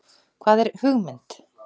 Hvað er hugmynd?